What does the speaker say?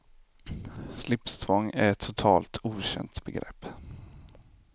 Slipstvång är ett totalt okänt begrepp.